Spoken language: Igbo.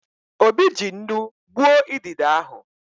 Obi ji nnu gbuo idide ahụ.